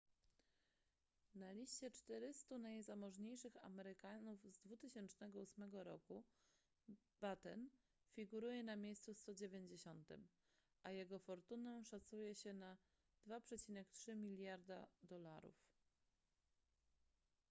na liście 400 najzamożniejszych amerykanów z 2008 roku batten figuruje na miejscu 190 a jego fortunę szacuje się na 2,3 mld usd